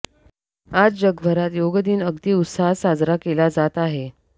आज जगभरात योगदिन अगदी उत्साहात साजरा केला जात आहे